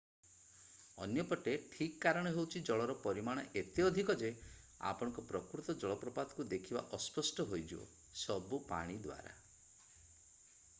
ଅନ୍ୟ ପଟେ ଠିକ କାରଣ ହେଉଛି ଜଳର ପରିମାଣ ଏତେ ଅଧିକ ଯେ ଆପଣଙ୍କ ପ୍ରକୃତ ଜଳପ୍ରପାତକୁ ଦେଖିବା ଅସ୍ପଷ୍ଟ ହୋଇଯିବ ସବୁ ପାଣି ଦ୍ଵାରା